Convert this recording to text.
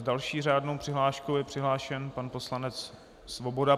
S další řádnou přihláškou je přihlášen pan poslanec Svoboda.